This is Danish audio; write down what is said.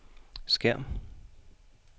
skærm